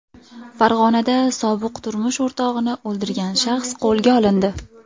Farg‘onada sobiq turmush o‘rtog‘ini o‘ldirgan shaxs qo‘lga olindi.